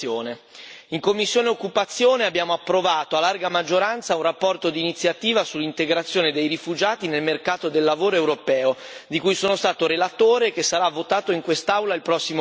In sede di commissione per l'occupazione abbiamo approvato a larga maggioranza una relazione d'iniziativa sull'integrazione dei rifugiati nel mercato del lavoro europeo, di cui sono stato relatore e che sarà votato in quest'Aula il prossimo mese.